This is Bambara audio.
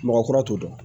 Mɔgɔ kura t'o dɔn